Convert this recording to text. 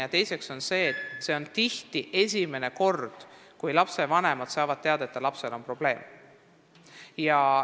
Teiseks, see on tihti esimene kord, kui lapsevanemad saavad teada, et nende lapsel on probleem.